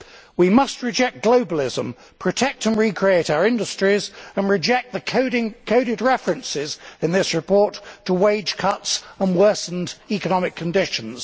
We must reject globalism, protect and recreate our industries and reject the coded references in this report to wage cuts and worsened economic conditions.